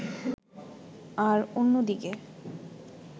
আর অন্যদিকে